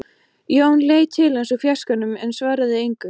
Jón leit til hans úr fjarskanum en svaraði engu.